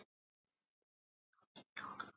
Ég var þá níu ára.